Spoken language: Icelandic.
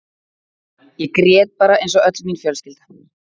Ég grét bara eins og öll mín fjölskylda.